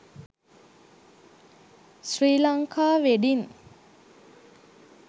sri lanka wedding